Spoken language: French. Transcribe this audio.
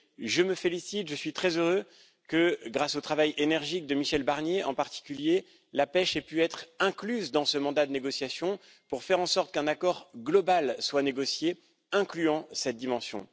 Je me félicite, je suis très heureux que, grâce au travail énergique de Michel Barnier, en particulier, la pêche ait pu être incluse dans ce mandat de négociation pour faire en sorte qu'un accord global soit négocié, incluant cette dimension.